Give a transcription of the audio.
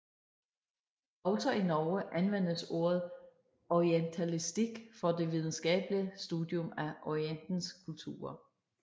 Også i Norge anvendes ordet orientalistikk for det videnskabelige studium af Orientens kulturer